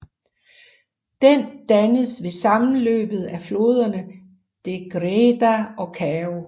Den dannes ved sammenløbet af floderne Degdega og Kao